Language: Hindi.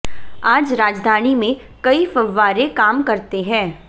आज राजधानी में कई फव्वारे काम करते हैं